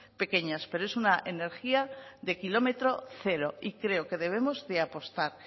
pequeñas pero es una energía de kilómetro cero y creo que debemos de apostar